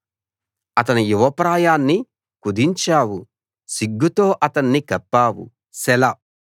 అతని యువప్రాయాన్ని కుదించావు సిగ్గుతో అతన్ని కప్పావు సెలా